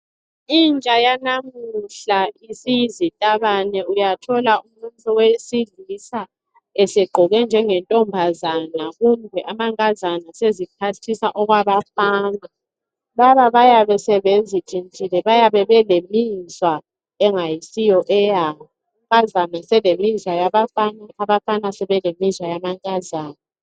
Intsha yanamuhla isiyizitabane uyathola umuntu wesilisa esegqoke njengentombazana kumbe amankazana eseziphathisa okwabafana. Bayabe sebentshintshile bayabe sebelemizwa engasiyo eyabo amankazana eselemizwa yabafana. Abafana sebelemizwa yamankazana .